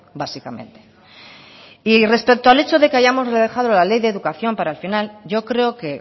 básicamente y respecto al hecho de que hayamos dejado la ley de educación para el final yo creo que